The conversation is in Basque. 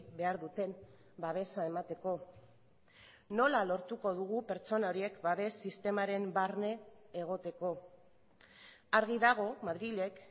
behar duten babesa emateko nola lortuko dugu pertsona horiek babes sistemaren barne egoteko argi dago madrilek